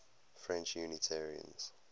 french unitarians